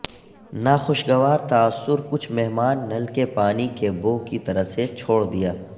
ناخوشگوار تاثر کچھ مہمان نل کے پانی کی بو کی طرف سے چھوڑ دیا